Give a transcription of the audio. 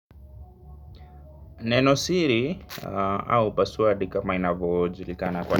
Neno siri au passwordi kama inavo julikana kwa.